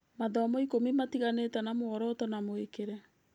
Mathomo ikũmi matiganĩte na muoroto na mwĩkĩre.